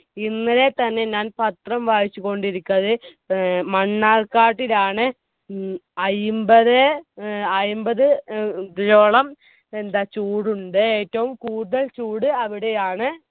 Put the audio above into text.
ഇന്നലെ തന്നെ ഞാൻ പത്രം വായിച്ചുകൊണ്ട് ഇരിക്കാന്ന് മണ്ണാർക്കാട്ടിലാണ് ഉം അയിമ്പതേ ഏർ അയിമ്പത് ഏർ ഓളം എന്താ ചൂടുണ്ട് ഏറ്റവും കൂടുതൽ ചൂട് അവിടെയാണ്